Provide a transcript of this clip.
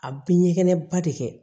A bɛ ɲɛgɛnɛ ba de kɛ